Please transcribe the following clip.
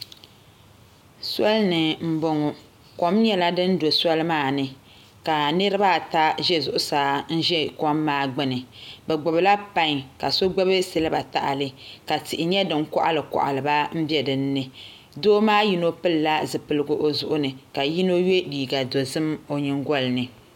Soli ni n boŋo kom nyɛla din do soli maa ni ka niraba ata nyɛ bin ʒɛ soli ni n ʒɛ kom maa gbuni bi gbubila pai ka so gbubi silba tahali ka tihi nyɛ din koɣali koɣali ba n bɛ dinni doo maa yino pilila zipiligu o zuɣu ni ka yino yɛ liiga dozim o nyingoli ni